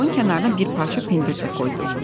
Qabın kənarına bir parça pendir də qoydu.